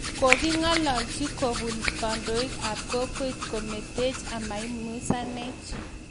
Koking'alalchi kobun kandoik ab kokwet kometeech amaiumizanech